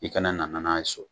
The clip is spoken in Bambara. I kana nana n'a ye so!